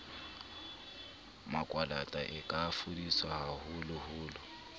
makwalata e ka fodiswa haholoholo